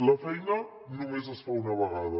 la feina només es fa una vegada